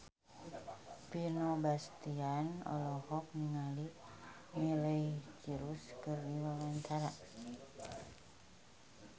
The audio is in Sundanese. Vino Bastian olohok ningali Miley Cyrus keur diwawancara